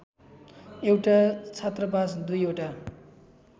एउटा छात्रावास दुईवटा